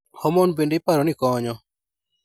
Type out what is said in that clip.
Homon bende iparo ni konyo.